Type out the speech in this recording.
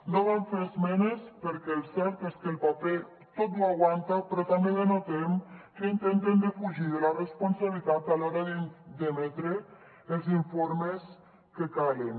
no vam fer esmenes perquè el cert és que el paper tot ho aguanta però també notem que intenten defugir la responsabilitat a l’hora d’emetre els informes que calen